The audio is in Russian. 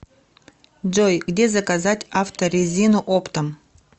джой где заказать авто резину оптом